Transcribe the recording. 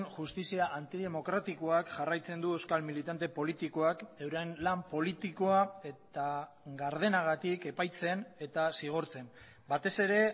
justizia antidemokratikoak jarraitzen du euskal militante politikoak euren lan politikoa eta gardenagatik epaitzen eta zigortzen batez ere